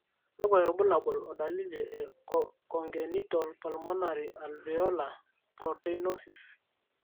kakwa irbulabol o dalili e Congenital pulmonary alveolar proteinosis/